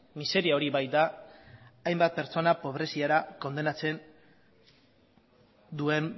miseria hori baita hainbat pertsona pobreziara kondenatzen duen